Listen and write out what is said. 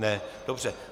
Ne, dobře.